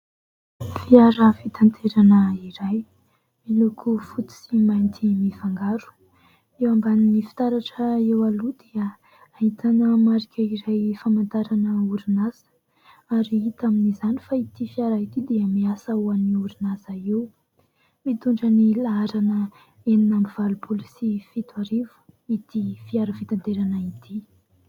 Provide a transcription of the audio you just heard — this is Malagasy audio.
Fiara fitanterana iray miloko fotst sy mainty mifangaro, eo ambaniny fitaratra eo aloha dia ahitana marika iray fahamantarana orinasa ary ita amin'izany fa ity fiara ity dia miasa ho any orinasa io, mitondra ny laharana enina ambiny valompoly sy fito arivo ity fiara fitanterana ity.